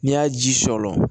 N'i y'a ji sɔɔn